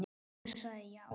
Hún sagði já.